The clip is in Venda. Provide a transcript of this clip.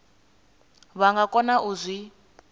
vha nga kona u zwi